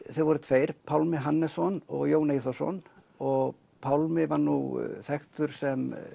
þeir voru tveir Pálmi Hannesson og Jón Eyþórsson og Pálmi var nú þekktur sem